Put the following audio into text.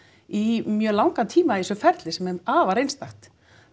í mjög langan tíma í þessu ferli sem er afar einstakt